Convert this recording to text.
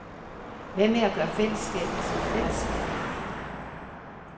Hvad med at gøre fællesskabet til et fællesskab?